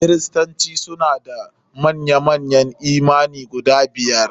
Kristoci suna da manya manyan yi imani guda biyar.